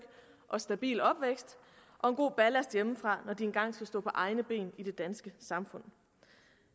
og stabil opvækst og en god ballast hjemmefra når de engang skal stå på egne ben i det danske samfund